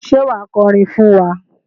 Ṣé wà á kọrin fún wa?